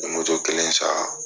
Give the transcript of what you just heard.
N ye moto kelen san